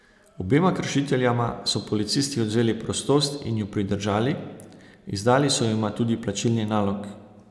Obema kršiteljema so policisti odvzeli prostost in ju pridržali, izdali so jima tudi plačilni nalog.